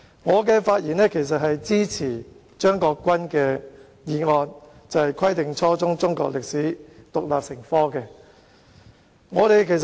我發言支持張國鈞議員動議的"規定初中中國歷史獨立成科"的議案。